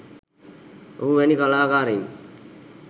ඔහු වැනි කලාකාරයින්